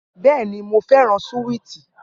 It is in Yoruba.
Bẹẹni, Mo fẹran suwiti.